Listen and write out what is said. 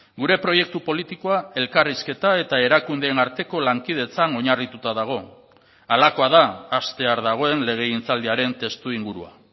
gure proiektu politikoa elkarrizketa eta erakundeen arteko lankidetzan oinarrituta dago halakoa da hastear dagoen legegintzaldiaren testuingurua